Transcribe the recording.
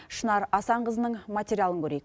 шынар асанқызының материалын көрейік